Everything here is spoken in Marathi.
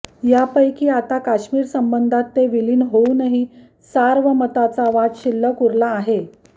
यापैकी आता फक्त काश्मीरसंबंधात ते विलीन होऊनही सार्वमताचा वाद शिल्लकउरला आहे